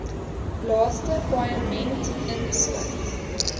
laaste paaiement insluit